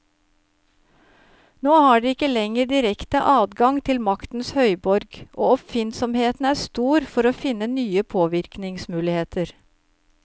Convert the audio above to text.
Nå har de ikke lenger direkte adgang til maktens høyborg, og oppfinnsomheten er stor for å finne nye påvirkningsmuligheter.